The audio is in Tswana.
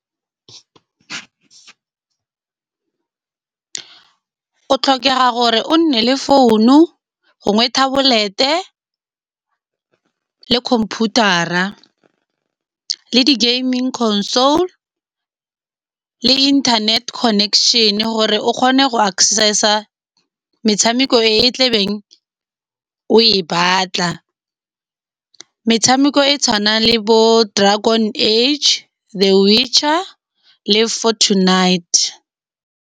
O tlhokega gore o nne le founu, gongwe tablet-e le computer-a, le di gaming console le internet connection. Gore o kgone go access-a metshameko e tlebeng o e batla. Metshameko e tshwanang le bo dragon h, the witcher le fort knight.